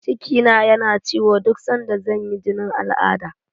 Cikina yana ciwo duk sanda zan yi jinin al'adda.